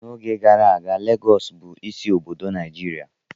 N'oge gara aga, Lagọọsù bụ isi obodo Nigeria